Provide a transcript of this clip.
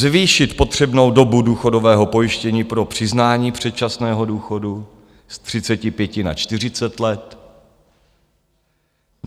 - zvýšit potřebnou dobu důchodového pojištění pro přiznání předčasného důchodu z 35 na 40 let;